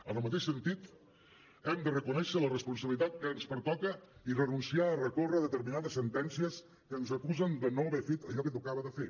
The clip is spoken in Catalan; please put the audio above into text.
en el mateix sentit hem de reconèixer la responsabilitat que ens pertoca i renunciar a recórrer contra determinades sentències que ens acusen de no haver fet allò que tocava de fer